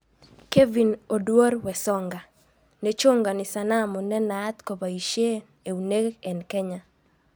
Kevin Oduor Wesonga:Nechongani sanamu nenaat kopoishei eunek eng Kenya.